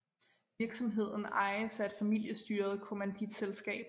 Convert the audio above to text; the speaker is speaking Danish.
Virksomheden ejes af et familestyret kommanditselskab